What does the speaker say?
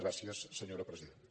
gràcies senyora presidenta